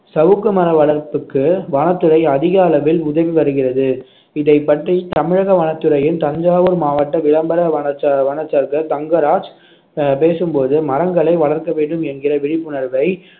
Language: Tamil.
சவுக்கு மர வளர்ப்புக்கு வனத்துறை அதிக அளவில் உதவி வருகிறது இதைப் பற்றி தமிழக வனத்துறையின் தஞ்சாவூர் மாவட்ட விளம்பர தங்கராஜ் அஹ் பேசும்போது மரங்களை வளர்க்க வேண்டும் என்கிற விழிப்புணர்வை